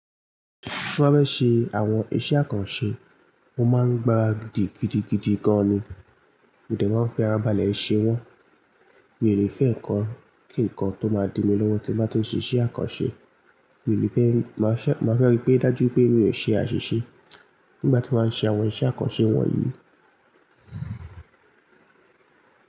Tí n bá fẹ́ ṣe àwọn iṣẹ́ àkànṣe, ó máa ń gbára gidigidigidi gan ni. Mo dẹ̀ maa ń fẹ́ ara balẹ̀ ṣe wọ. Mi ò ní fẹ́ nǹkan kí nǹkan tó máa di mí lọ́wọ́ tí mo bá ti ṣe iṣẹ́ àkànṣe. Mi ò ní fẹ́, màá fẹ́ rí pé dájú pé mi ò ṣe àṣìṣe nígbà tí mo bá ń ṣe àwọn iṣẹ́ àkànṣe wọ̀nyí.